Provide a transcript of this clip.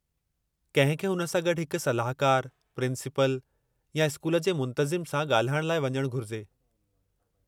कंहिं खे हुन सां गॾु हिकु सलाहकारु, प्रिंसिपल, या स्कूल जे मुंतज़िम सां ॻाल्हाइण लाइ वञणु घुरिजे।